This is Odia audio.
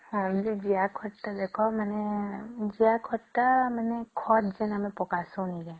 ହଁ ଜିଆ ଖତ ତ ଦେଖ ମାନେ ଜିଆ ଖତ ତ ମାନେ ଖତ ଯେମିତି ଆମେ ଯେମିତି ପକାଶନ କେ